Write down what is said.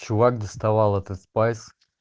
чувак доставал этот спайс